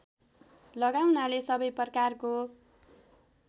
लगाउनाले सबै प्रकारको